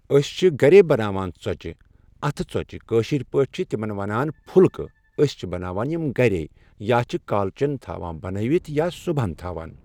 أسۍ چھِ گرے بناوان ژۄچہِ اتھٕ ژۄچہِ کٲشرۍ پٲٹھۍ چھِ تِمن وَنان پھُلکہٕ أسۍ چھِ بناوان یِم گرے یا چھ کالچین تھاوان بَنٲیِتھ یا صبُحن تھاوان